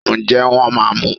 njẹ wón ma mú